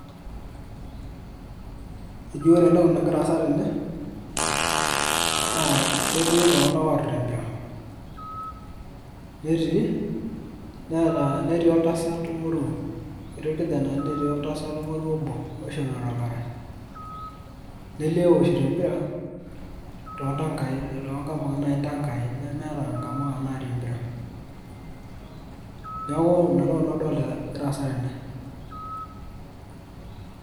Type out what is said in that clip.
eji ore entoki nagira aasa tene, naa ketii iltung'anak oorita empira, netii, neeta oltasat moruo, ketiii irkijenani netii oltasat moruo obo. osishopito irkarash, neoshito empira toltankai, nemeeta nkamuka naareikie emipra. neeku inaa naa nanu agira adol eesa tene.